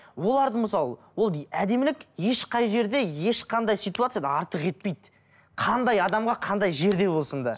оларды мысалы ол әдемілік ешқай жерде ешқандай ситуацияда артық етпейді қандай адамға қандай жерде болсын да